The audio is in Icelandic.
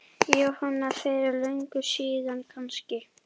Jóhanna: Fyrir löngu síðan kannski?